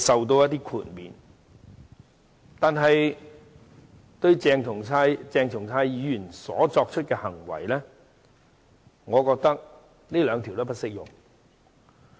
但是，就鄭松泰議員作出的行為，我覺得上述兩項條文均不適用。